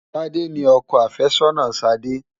Tádé ni ọkọ àfẹ́sọ́nà Ṣadé.